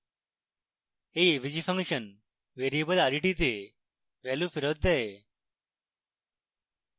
এই avg function variable ret এ value ফেরৎ দেয়